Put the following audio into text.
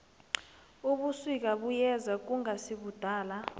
ubusika buyeza kungasikudala